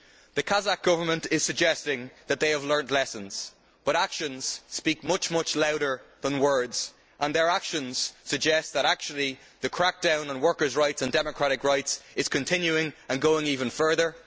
The Kazakh Government is suggesting that they have learnt lessons, but actions speak much louder than words, and their actions suggest that the crackdown on workers' rights and democratic rights is continuing and going even further.